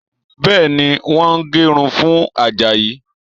Bẹ́ẹ̀ni, wọ́n ń gé irun fún Àjàyí